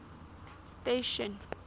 station